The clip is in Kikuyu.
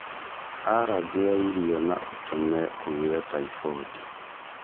Alajĩ ya irio na ũtũme ũgĩe taibondi